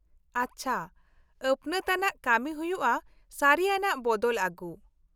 -ᱟᱪᱪᱷᱟ, ᱟᱹᱯᱱᱟᱹᱛ ᱟᱱᱟᱜ ᱠᱟᱹᱢᱤ ᱦᱩᱭᱩᱜᱼᱟ ᱥᱟᱹᱨᱤ ᱟᱱᱟᱜ ᱵᱚᱫᱚᱞ ᱟᱜᱩ ᱾